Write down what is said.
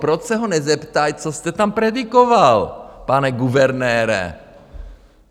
Proč se ho nezeptají, co jste tam predikoval, pane guvernére?